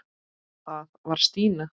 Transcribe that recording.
Það var Stína.